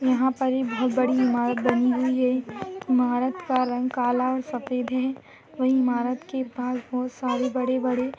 यहाँ पर ई बहुत बड़ी इमारत बनी हुई है इमारत का रंग काला और सफेद है और इमारत के पास बहुत सारी बड़े बड़े --